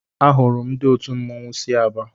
Ahụrụ ndị òtù mmọnwụ sị Aba.